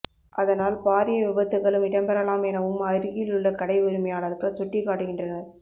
அதனால் பாரிய விபத்துக்களும் இடம்பெறலாம் எனவும் அருகிலுள்ள கடை உரிமையாளர்கள் சுட்டிக் காட்டுகின்றனர்